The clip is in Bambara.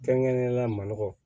Kɛrɛnkɛrɛnnenyala manɔgɔ